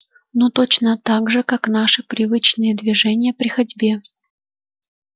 ну точно так же как наши привычные движения при ходьбе